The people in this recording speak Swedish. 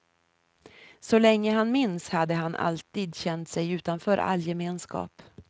Så länge han minns hade han alltid känt sig utanför all gemenskap.